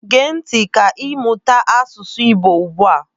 Gee ntị ka ịmụta asụsụ Igbo ugbu a.